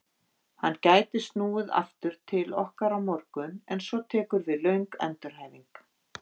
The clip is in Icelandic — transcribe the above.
Hann gæti snúið aftur til okkar á morgun en svo tekur við löng endurhæfing.